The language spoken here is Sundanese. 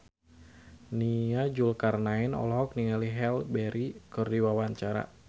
Nia Zulkarnaen olohok ningali Halle Berry keur diwawancara